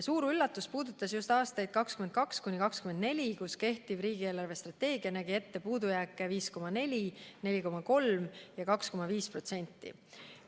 Suur üllatus puudutas just aastaid 2022–2024, mille kohta kehtiv riigi eelarvestrateegia nägi ette puudujääki 5,4%, 4,3% ja 2,5%.